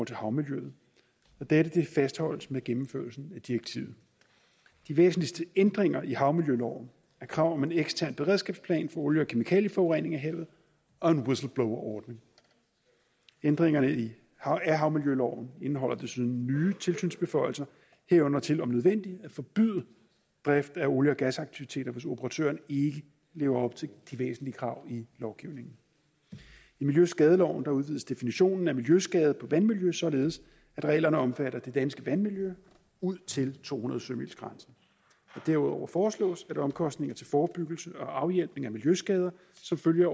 til havmiljøet og dette fastholdes med gennemførelsen af direktivet de væsentligste ændringer i havmiljøloven er kravet om en ekstern beredskabsplan for olie og kemikalieforurening af havet og en whistleblowerordning ændringerne i havmiljøloven indeholder desuden nye tilsynsbeføjelser herunder til om nødvendigt at forbyde drift af olie og gasaktiviteter hvis operatøren ikke lever op til de væsentlige krav i lovgivningen i miljøskadeloven udvides definitionen af miljøskader på vandmiljøet således at reglerne omfatter det danske vandmiljø ud til to hundrede sømilegrænsen derudover foreslås at omkostninger til forebyggelse og afhjælpning af miljøskader som følge